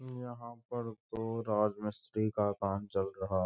यहाँ पर तो राज मिस्त्री का काम चल रहा --